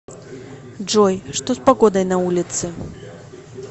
джой что с погодой на улице